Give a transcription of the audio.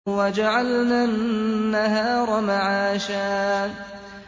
وَجَعَلْنَا النَّهَارَ مَعَاشًا